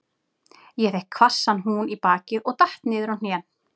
Ég fékk hvassan hún í bakið og datt niður á hnén.